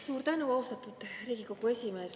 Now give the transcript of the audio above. Suur tänu, austatud Riigikogu esimees!